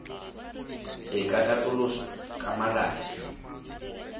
e ka katoloswa ka malatsi